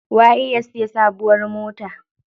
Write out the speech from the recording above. Waye ya siya sabuwar mota?